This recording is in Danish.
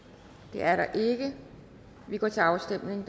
det er der ikke vi går til afstemning